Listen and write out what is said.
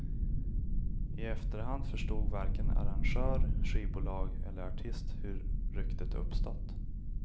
I efterhand förstod varken arrangör, skivbolag eller artist hur ryktet uppstått.